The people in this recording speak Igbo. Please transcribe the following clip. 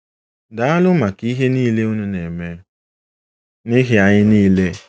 “Daalụ maka ihe niile unu na-eme n’ihi anyị niile.